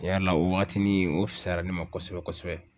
Tiɲɛ yɛrɛ la o wagatinin o fusayara ne ma kosɛbɛ-kosɛbɛ.